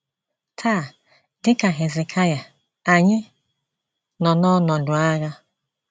Taa, dị ka Hezekaịa, anyị nọ n’ọnọdụ agha.